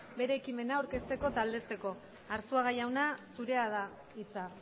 bere ekimena aurkezteko eta aldezteko arzuaga jauna zure da hitza